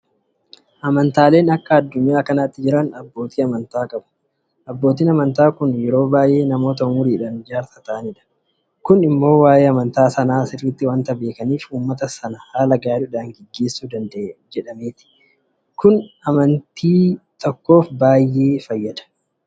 Amantaaleen akka addunyaa kanaatti jiran abbootii amantaa qabu. Abbootiin amantaa kun yeroo baay'ee namoota ummuriidhaan jaarsa ta'anidha. Kun immoo waa'ee amantaa sanaa sirriitti waanta beekaniif uummata sana haala gaariidhaan gaggeessuu danda'u. Kun immoo amntichaaf baay'ee fayyada.